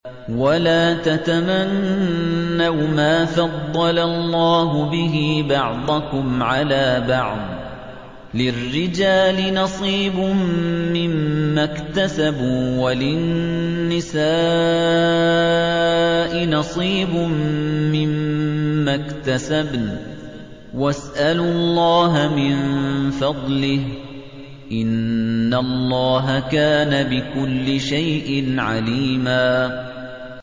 وَلَا تَتَمَنَّوْا مَا فَضَّلَ اللَّهُ بِهِ بَعْضَكُمْ عَلَىٰ بَعْضٍ ۚ لِّلرِّجَالِ نَصِيبٌ مِّمَّا اكْتَسَبُوا ۖ وَلِلنِّسَاءِ نَصِيبٌ مِّمَّا اكْتَسَبْنَ ۚ وَاسْأَلُوا اللَّهَ مِن فَضْلِهِ ۗ إِنَّ اللَّهَ كَانَ بِكُلِّ شَيْءٍ عَلِيمًا